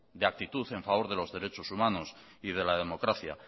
de actitud a favor de los derechos humanos y de la democracia